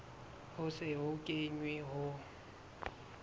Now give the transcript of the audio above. ho se ho kenwe ho